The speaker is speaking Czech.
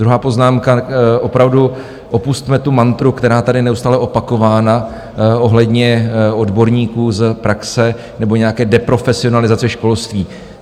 Druhá poznámka: opravdu opusťme tu mantru, která je tady neustále opakována, ohledně odborníků z praxe nebo nějaké deprofesionalizace školství.